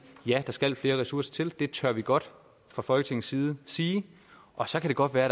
ja der skal flere ressourcer til det tør vi godt fra folketingets side sige og så kan det godt være